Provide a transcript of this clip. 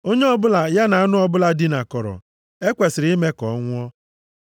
“Onye ọbụla ya na anụ ọbụla dinakọrọ, e kwesiri ime ka ọ nwụọ.